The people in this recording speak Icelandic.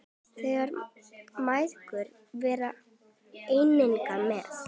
Þær mæðgur voru einnig með.